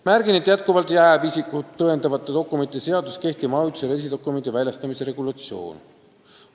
Märgin, et isikut tõendavate dokumentide seaduses jääb jätkuvalt kehtima ajutise reisidokumendi väljastamise regulatsioon.